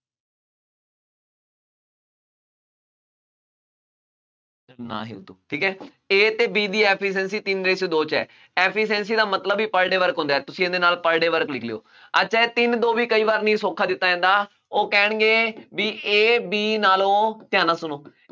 ਨਾ ਹੀ , ਠੀਕ ਹੈ, A ਅਤੇ B ਦੀ efficiency ਤਿੰਨ ratio ਦੋ ਚ ਹੈ। efficiency ਦਾ ਮਤਲਬ ਵੀ per day work ਹੁੰਦਾ ਹੈ, ਤੁਸੀਂ ਇਹਦੇ ਨਾਲ per day work ਲਿਖ ਲਉ, ਅੱਛਾ ਇਹ ਤਿੰਨ ਦੋ ਵੀ ਕਈ ਵਾਰ ਨਹੀਂ ਸੌਖਾ ਦਿੱਤਾ ਜਾਂਦਾ, ਉਹ ਕਹਿਣਗੇ ਬਈ A, B ਨਾਲੋਂ ਧਿਆਨ ਨਾਲ ਸੁਣੋ,